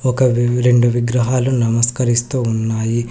ఒక వివి రెండు విగ్రహాలు నమస్కరిస్తూ ఉన్నాయి.